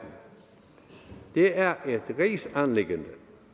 det er et rigsanliggende